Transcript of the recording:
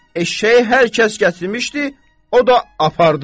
Eşşəyi hər kəs gətirmişdi, o da apardı.